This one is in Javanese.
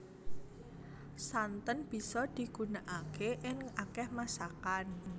Santen bisa digunakaké ing akéh masakan